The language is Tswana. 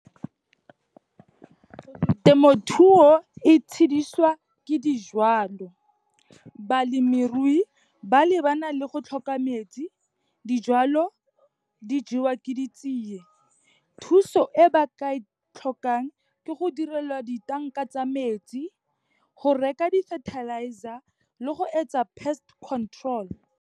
Temothuo e tshedisiwa ke dijalo. Balemirui ba lebana le go tlhoka metsi, dijalo di jewa ke di tsiye. Thuso e ba ka e tlhokang, ke go direlwa di-tank-a tsa metsi, go reka di-fertilizer le go etsa pest control.